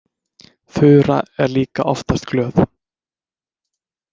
Þura er líka oftast glöð.